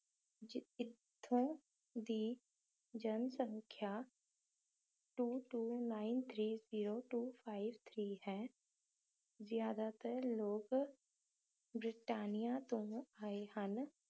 ਇੱਥੋਂ ਦੀ ਜਨਸੰਖਿਆ two two nine two two nine three zerotwo five three ਹੈ ਜ਼ਿਆਦਾਤਰ ਲੋਕ ਬਰਤਾਨੀਆ ਤੋਂ ਆਏ ਹਨ